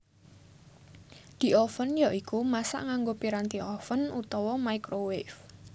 Dioven ya iku masak nganggo piranti oven utawa microwave